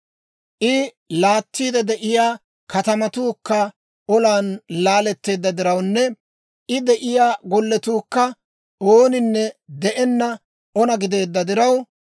I laattiide de'iyaa katamatuukka olan laaletteedda dirawunne I de'iyaa gollatuukka ooninne de'enna ona gideedda diraw,